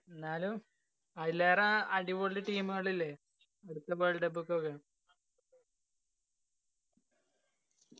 എന്നാലും ആയിലേറെ അടിപൊളി team തുകൽ ഇല്ലേ അടുത്ത world cup